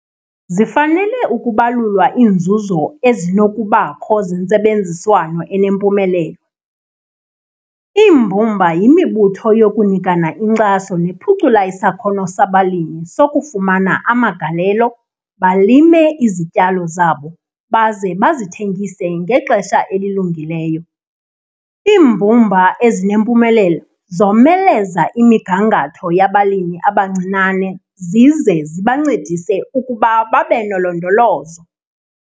Zifanele ukubalulwa iinzuzo ezinokubakho zentsebenziswano enempumelelo. Iimbumba yimibutho yokunikana inkxaso nephucula isakhono sabalimi sokufumana amagalelo, balime izityalo zabo baze bazithengise ngexesha elilungileyo. Iimbumba ezinempumelelo zomeleza imigangatho yabalimi abancinane zize zibancedise ukuba babe nolondolozo.